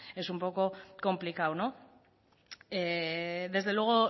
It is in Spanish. es un poco complicado no desde luego